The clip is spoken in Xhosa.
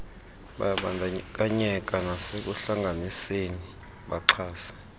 bayabandakanyeka nasekuhlanganiseni baxhase